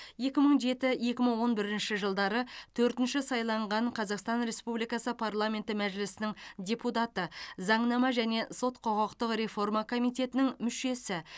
екі мың жеті екі мың он бірінші жылдары төртінші сайланған қазақстан республикасы парламенті мәжілісінің депутаты заңнама және сот құқықтық реформа комитетінің мүшесі